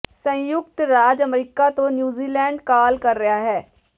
ਸੰਯੁਕਤ ਰਾਜ ਅਮਰੀਕਾ ਤੋਂ ਨਿਊਜ਼ੀਲੈਂਡ ਕਾਲ ਕਰ ਰਿਹਾ ਹੈ